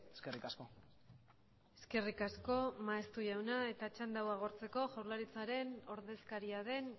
eskerrik asko eskerrik asko maeztu jauna eta txanda hau agortzeko jaurlaritzaren ordezkaria den